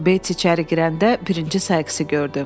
Beyts içəri girəndə birinci Sayksı gördü.